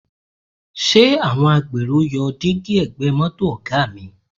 Ṣé àwọn agbèrò yọ dígí ẹ̀gbẹ́ mọ́tò Ọ̀ga mi?